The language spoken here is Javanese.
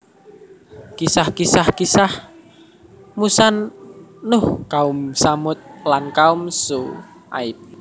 Kisah kisah Kisah kisah Musa Nuh kaum Tsamud lan kaum Syu aib